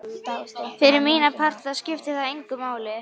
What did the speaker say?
Fyrir mína parta skipti það engu máli.